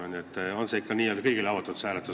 On see hääletus lõpuks ikka kõigile avatud?